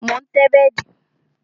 Mo ń tẹ́ bẹ́dì